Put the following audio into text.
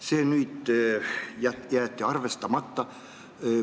See ettepanek jäeti arvestama.